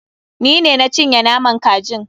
Ni ne na cinye naman kajin.